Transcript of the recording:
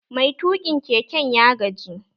Mai tuƙin keken ya gaji